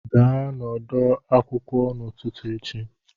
Gaa n'ọdọ akwụkwọ n'ụtụtụ echi!